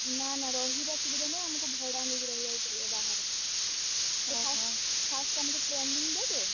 ନା, ନା ରହିବା ସୁବିଧା ନାହିଁ, ଆମକୁ ଭଡା ନେଇ ରହିବାକୁ ପଡିବ ବାହାରେ। first ଆମୁକୁ training ଦେବେ।